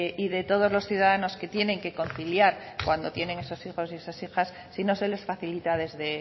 y de todos los ciudadanos que tienen que conciliar cuando tienen esos hijas y esas hijas si no se les facilita desde